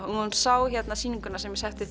hún sá sýninguna sem ég setti